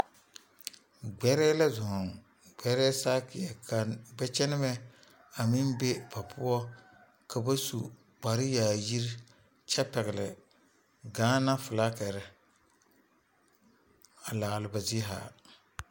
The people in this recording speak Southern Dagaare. Gbɛrɛɛ la zoŋ gbɛrɛɛ sakie ka gbɛɛ kyɛne mɛ a meŋ be ba poɔ ka ba su kpare yaayire kyɛ pegeli Gaana flakiri a laare ba zie zaa.